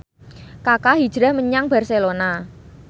Kaka hijrah menyang Barcelona